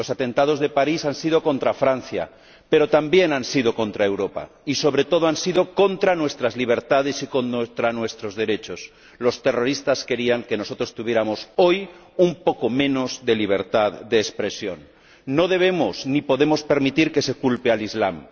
Los atentados de París han sido contra Francia, pero también han sido contra Europa y, sobre todo, han sido contra nuestras libertades y contra nuestros derechos los terroristas querían que nosotros tuviéramos hoy un poco menos de libertad de expresión. No debemos ni podemos permitir que se culpe al islam.